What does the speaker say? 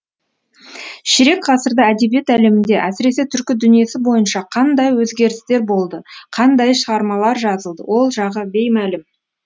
ширек ғасырда әдебиет әлемінде әсіресе түркі дүниесі бойынша қандай өзгерістер болды қандай шығармалар жазылды ол жағы беймәлім